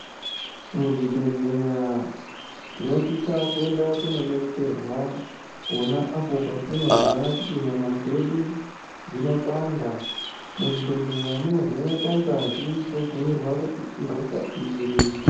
Muzvibhedhlera tinosisa kuenda kundodetserwa pona apo patinonzwa kuti nyama dzedu dzinopanda muzvibhedhlera munovhenekwa ngazi wotobhuirwa kuti ihosha iri.